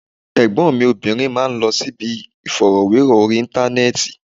Ẹ̀gbọ́n mi obìnrin máa ń lọ síbi ìfọ̀rọ̀wérọ̀ orí Íńtánẹ́ẹ̀tì.